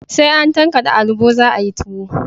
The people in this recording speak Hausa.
Sai an tankade alubo za a yi tuwo